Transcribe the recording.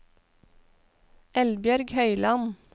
Eldbjørg Høyland